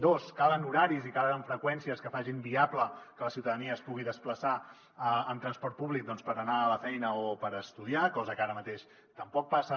dos calen horaris i calen freqüències que facin viable que la ciutadania es pugui desplaçar amb transport públic per anar a la feina o per estudiar cosa que ara mateix tampoc passa